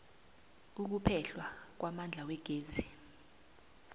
ukuphehlwa kwamandla wegezi